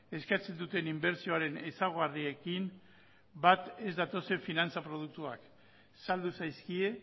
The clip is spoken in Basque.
eskatzen duten inbertsioaren ezaugarriekin bat ez datozen finantza produktuak saldu zaizkie